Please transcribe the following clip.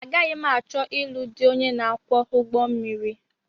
Agaghị m achọ ilu dị onye na-akwọ ụgbọmmiri